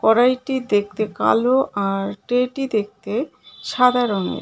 কড়াইটি দেখতে কালো আর ট্রেটি দেখতে সাদা রঙের .